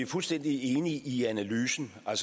fuldstændig enige i analysen af